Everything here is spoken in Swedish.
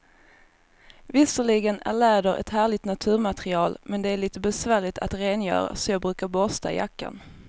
Visserligen är läder ett härligt naturmaterial, men det är lite besvärligt att rengöra, så jag brukar borsta jackan.